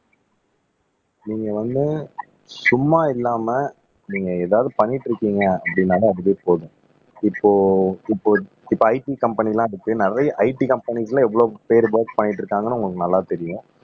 நீங்க வந்து சும்மா இல்லாம நீங்க ஏதாவது பண்ணிட்டு இருக்கீங்க அப்படின்னாலே அதுவே போதும் இப்போ இப்போ இப்போ IT கம்பெனி எல்லாம் இருக்கு நிறைய IT கம்பெனிகுள்ள எவ்வளவு பேர் ஒர்க் பண்ணிட்டு இருக்காங்கன்னு உங்களுக்கு நல்லா தெரியும்